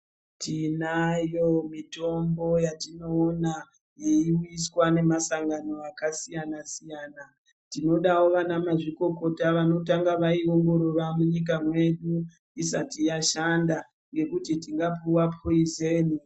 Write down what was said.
Tinayo mitombo yatinoona iri kuiswa nemasangano akasiyana siyana tinodawo vanamazvikokota vanotanga vaiongorora munyika mwedu isati yashanda ngekuti tingapuwa poizeni.